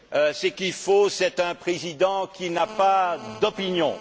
Ce qu'il nous faut, c'est un Président qui n'a pas d'opinion.